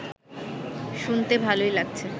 শুনতে ভালোই লাগছে